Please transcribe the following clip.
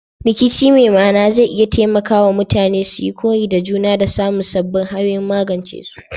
Rikici mai ma'ana zai iya taimaka wa mutane suyi koyi da juna da samun sabbin hanyoyin magance su.